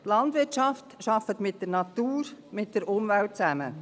Die Landwirtschaft arbeitet mit der Natur, mit der Umwelt zusammen.